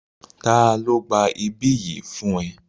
Ta ló gba ibí yìí fún ẹ?